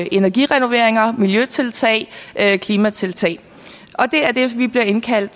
energirenoveringer miljøtiltag og klimatiltag det er det vi bliver indkaldt